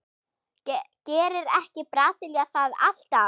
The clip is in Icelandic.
Gerir ekki Brasilía það alltaf?